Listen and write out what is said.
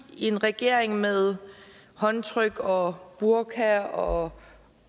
i en regering med håndtryk og burka og